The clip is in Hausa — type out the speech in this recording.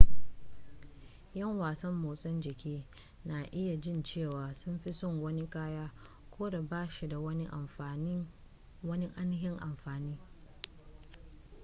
ƴan wasan motsa jiki na iya jin cewa sun fi son wani kaya ko da ba shi da wani ainihin amfani